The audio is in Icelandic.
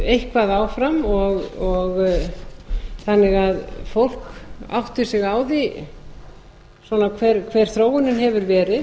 eitthvað áfram þannig að fólk átti sig á því svona hver þróunin hefur verið